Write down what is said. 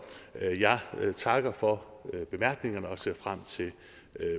jeg takker for bemærkningerne og ser frem til